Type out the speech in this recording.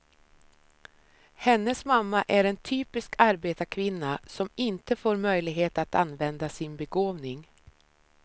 Hennes mamma är en typisk arbetarkvinna, som inte får möjlighet att använda sin begåvning.